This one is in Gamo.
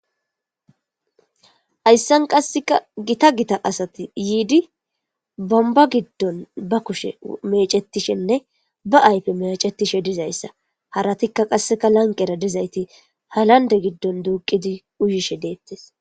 Hayssan qasseka gita gita asati yiidi bomba giddon ba kushe mecetishenne ba aype mecetishe dizayssa haratikka qasseka lanqera dizayti halande giddon duuqidi uyishe deettes.